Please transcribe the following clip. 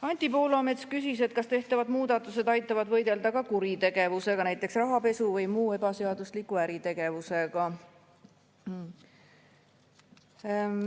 Anti Poolamets küsis, kas tehtavad muudatused aitavad võidelda kuritegevusega, näiteks rahapesu või muu ebaseadusliku äritegevusega.